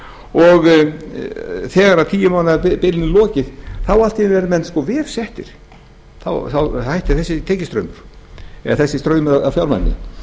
og þegar tíu mánaða bilinu er lokið þá allt í einu eru menn verr settir þá hættir þessi tekjustraumur eða þessi straumur af fjármagni